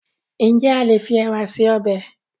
Ǹjẹ́ a lè fi ẹ̀wà se ọbẹ̀?